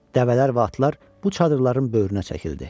Dəvələr və atlar bu çadırların böyrünə çəkildi.